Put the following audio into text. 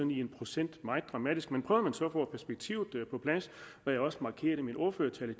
i procent meget dramatisk men prøver man så på at få perspektivet på plads hvad jeg også markerede i min ordførertale